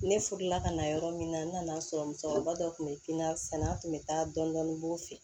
Ne furula ka na yɔrɔ min na n nana sɔrɔ musokɔrɔba dɔ kun bɛ n ka sɛnɛ an tun bɛ taa dɔndɔni b'o fɛ